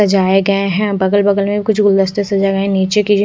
सजाये गए है बगल बगल में कुछ गुलदस्ते सजाये गए निचे की --